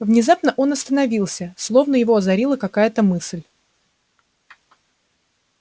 внезапно он остановился словно его озарила какая-то мысль